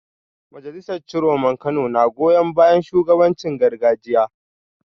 Majalisar Ciroman Kano na goyon bayan shugabancin gargajiya